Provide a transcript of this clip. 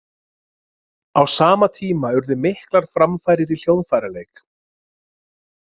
Á sama tíma urðu miklar framfarir í hljóðfæraleik.